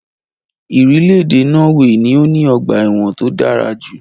Irílèdè Norway ni o ní ogbà èwòn to dárajù